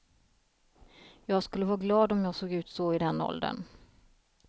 Jag skulle vara glad om jag såg ut så i den åldern.